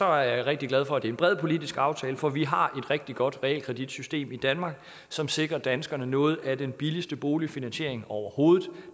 er jeg rigtig glad for at det er en bred politisk aftale for vi har rigtig godt realkreditsystem i danmark som sikrer danskerne noget af den billigste boligfinansiering overhovedet